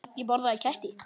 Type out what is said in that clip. Lok bókar